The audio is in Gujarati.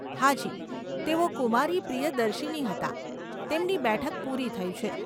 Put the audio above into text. હાજી, તેઓ કુમારી પ્રિયદર્શીની હતાં, તેમની બેઠક પૂરી થઇ છે.